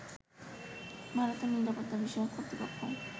ভারতের নিরাপত্তা বিষয়ক কর্তৃপক্ষ